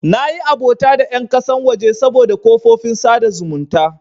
Nayi abota da ƴan ƙasan waje saboda kafofin sada zumunta.